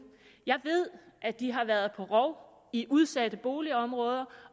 jeg ved at de har været på rov i udsatte boligområder